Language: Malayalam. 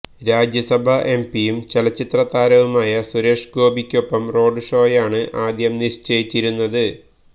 രാജ്യസഭാ എംപിയും ചലച്ചിത്ര താരവുമായ സുരേഷ് ഗോപിക്കൊപ്പം റോഡ് ഷോയാണ് ആദ്യം നിശ്ചയിച്ചിരുന്നത്